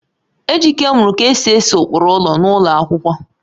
Ejike muru ka esi ese ụkpụrụ ụlọ n'ụlọ akwụkwọ